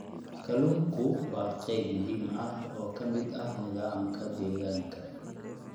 Kalluunku waa qayb muhiim ah oo ka mid ah nidaamka deegaanka.